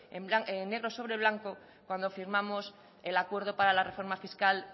negro sobre blanco cuando firmamos el acuerdo para la reforma fiscal